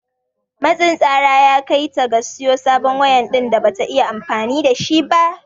Matsin tsara ya kai ta ga siyo sabon waya din da Bata iya amfani da shi ba.